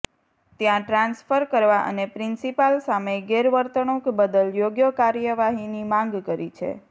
ત્યા ટ્રાન્સફર કરવા અને પ્રિન્સીપાલ સામે ગેરવર્તુણક બદલ યોગ્ય કાર્યવાહીની માંગ કરી છે